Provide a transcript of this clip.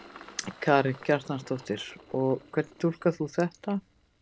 Karen Kjartansdóttir: Og hvernig túlkar þú þetta?